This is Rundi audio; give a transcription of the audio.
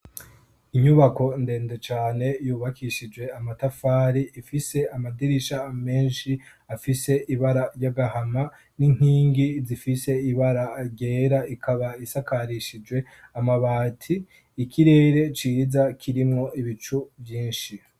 Inyubako ndende cane yubakishijwe amatafari, ifise amadirisha menshi afise ibara ry'agahama n'inkingi zifise ibara ryera. Ikaba isakarishijwe amabati. Ikirere ciza kirimwo ibicu vyinshi.